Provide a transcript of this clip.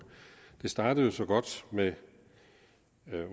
det startede jo så godt med